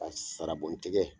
Ka sarabon tigɛ